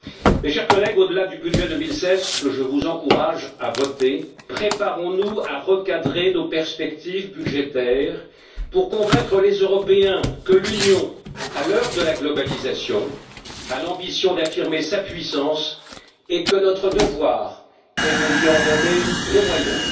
Mes chers collègues, au delà du budget 2016, que je vous encourage à voter, préparons nous à recadrer nos perspectives budgétaires pour convaincre les Européens que l'Union, à l'heure de la mondialisation, a l'ambition d'affirmer sa puissance et que notre devoir est de lui en donner les moyens.